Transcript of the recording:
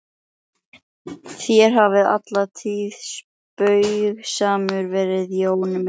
Þér hafið alla tíð spaugsamur verið Jón minn.